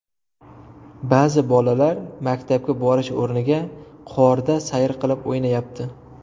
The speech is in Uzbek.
Ba’zi bolalar maktabga borish o‘rniga qorda sayr qilib, o‘ynayapti.